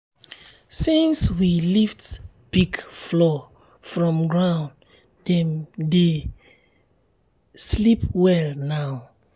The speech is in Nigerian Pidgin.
since we lift pig floor from ground dem dey dem dey sleep well now.